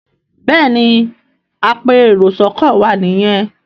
Béèni apẹ èrò sóko wá ní yén.